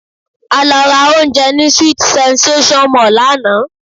A lọ ra oúnjẹ ní sweet sensation mall lánàá